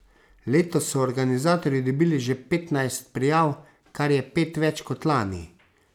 Letos so organizatorji dobili že petnajst prijav, kar je pet več kot lani.